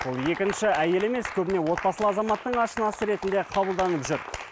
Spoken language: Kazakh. ол екінші әйелі емес көбіне отбасылы азаматтың ашынасы ретінде қабылданып жүр